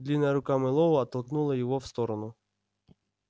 длинная рука мэллоу оттолкнула его в сторону